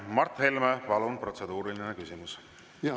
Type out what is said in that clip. Mart Helme, palun, protseduuriline küsimus!